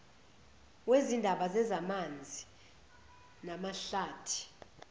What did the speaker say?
wezindaba zezamanzi namahlathi